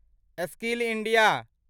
skill India